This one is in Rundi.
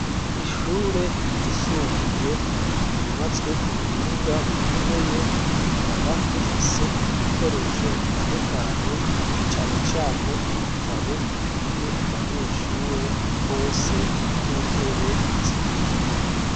Ishure ryisumbuye ryubatswe ku buhinga bukomeye rikaba rifise ibikoresho bitandukanye na cane cane ibitabo bikwiye abanyeshuri bose n'intebe zikwiye.